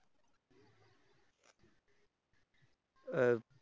अं